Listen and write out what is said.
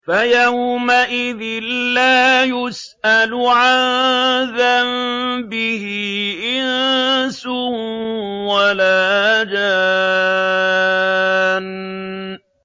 فَيَوْمَئِذٍ لَّا يُسْأَلُ عَن ذَنبِهِ إِنسٌ وَلَا جَانٌّ